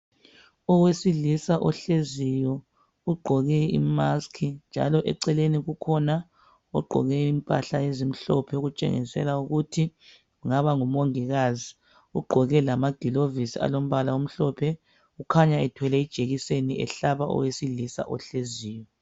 Owesilisa ohleziyo ugqoke imaskhi njalo eceleni kukhona njalo ogqoke impahla ezimhlophe okutshengisela ukuthi kungaba ngumongikazi ugqoke lamagilovisi alombala omhlophe. Ukhanya ethwele ijekiseni ehlaba owesilisa ohleziyo.